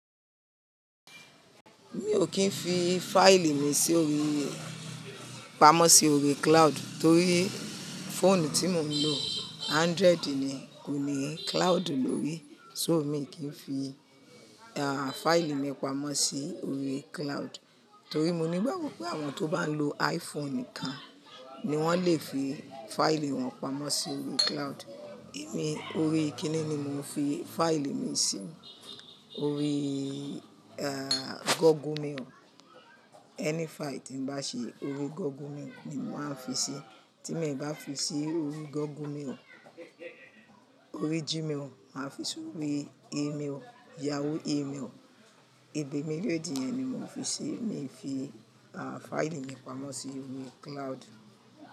Mi ò kí ń fi fáìlì mi sí orí, pamọ́ sí orí cloud torí fóònù tí mo ń lò Android ni kò ní cloud lórí. So mi kì í fi, àh, fáìlì mi pamọ́ sí orí cloud. Torí mo nígbàgbọ́ pé àwọn tó bá ń lo iPhone nìkan ni wọ́n lè fi fáìlì wọn pamọ́ sí orí cloud. Èmi orí kíni ni mò ń fi fáìlì mi sí, orí, àh, Google mail. Ẹni fáìlì tí ń bá ṣe orí Google mail ni mo màá fi ṣí. Tí mi bá fi ṣí orí Google mail, orí Gmail, màá fi ṣí orí email, Yahoo email. Ibi méjèjì yi ni mò ń fi ṣí, mi fi, àh, fáìlì mi pamọ́ sí orí cloud.